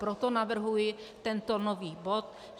Proto navrhuji tento nový bod.